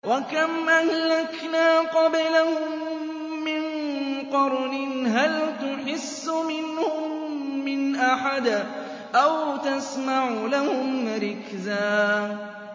وَكَمْ أَهْلَكْنَا قَبْلَهُم مِّن قَرْنٍ هَلْ تُحِسُّ مِنْهُم مِّنْ أَحَدٍ أَوْ تَسْمَعُ لَهُمْ رِكْزًا